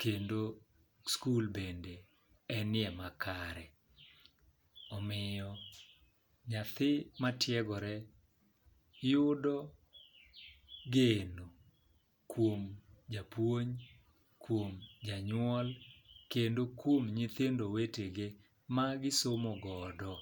kendo skul bende enie makare. Omiyo nyathi matiegore yudo geno kuom japuonj, kuom janyuol kendo kuom nyithindo wetege ma gi somo godo.